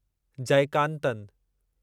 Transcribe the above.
Jayakanthan